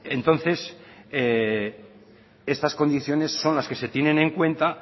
entonces estas condiciones son las que se tienen en cuenta